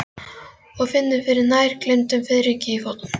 Og finnur fyrir nær gleymdum fiðringi í fótum.